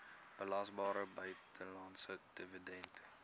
belasbare buitelandse dividend